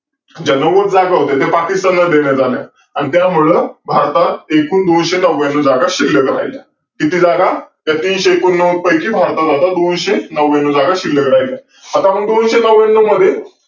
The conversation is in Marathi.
अनेक वा बावरांमध्ये पाणी वर ओढून काढण्यासाठी मोठ वापरतात येईल याचेही सोय केलेली आढळून येते.